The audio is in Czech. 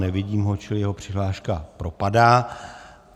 Nevidím ho, čili jeho přihláška propadá.